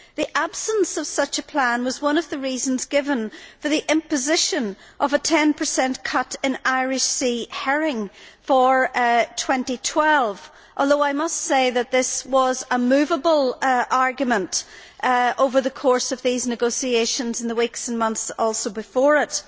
The absence of such a plan was one of the reasons given for the imposition of a 10 cut in Irish Sea herring for 2012, although I must say that this was also a moveable argument over the course of these negotiations in the weeks and months before it.